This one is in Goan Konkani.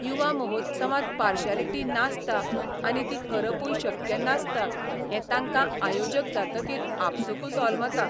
युवा महोत्सवांत पार्शालिटी नासता आनी ती करपूय शक्य नासता हें तांकां आयोजक जातकीर आपसूकच होलमता.